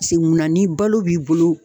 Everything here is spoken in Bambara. Se munna ni balo b'i bolo